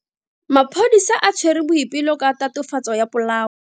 Maphodisa a tshwere Boipelo ka tatofatso ya polao.